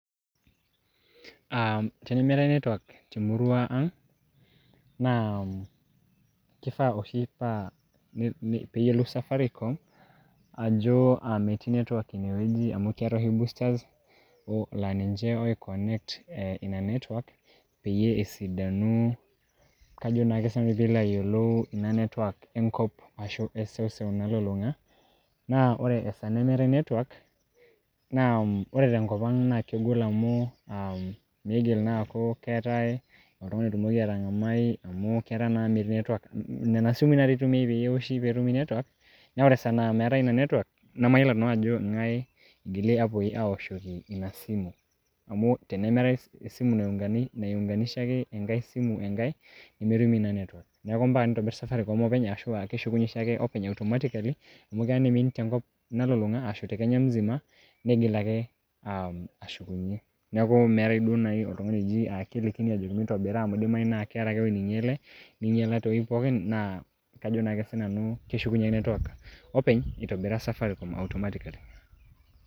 Ah tenemeeta netwak temurua ang',naa kifaa oshi pa peyiolou safaricom, ajo ah amitii netwak inewueji. Amu keetae oshi boosters la ninche oi connect e ina netwak, peyie esidanu, kajo naake sinanu pilo ayiolou ina netwak enkop ashu eseuseu nalulung'a. Na ore esaa nemeetae netwak, na ore tenkop ang' na kegol amu, um miigil naa aku keetae oltung'ani otumoki atang'amai amu ketaa naa metii netwak. Nena simui natoi eitumiai peyie eoshi petumi netwak. Neeku Ore esaai nemetii netwak, namayiolo naa nanu ajo ng'ae igili apo awoshoki ina simu. Amu, tenemeetae esimu naiunganishaki enkae simu enkae, nemetumi naa netwak. Neeku mpaka nitobir safaricom openy ashu a keshukunye oshiake openy automatically ,amu kea niimin tenkop nalulung'a, ashu te kenya musima, niigil ake ashukunye. Neeku meetae duo nai oltung'ani oji kelikini ajoki mitobiraa, amu kidimayu na keeta ake ewueji ninyale tewueji pookin, naa kajo ake sinanu keshukunye netwak openy itobira safaricom automatically.